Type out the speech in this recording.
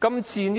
今次